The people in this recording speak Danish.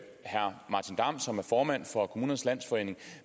herre martin damm som er formand for kommunernes landsforening